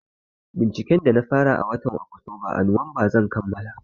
Binciken da na fara a watan Oktoba a Nuwamba zan kammala.